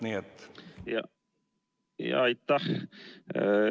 Aitäh!